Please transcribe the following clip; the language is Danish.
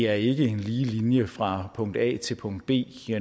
er en lige linje fra punkt a til punkt b